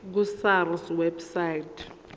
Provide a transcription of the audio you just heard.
ku sars website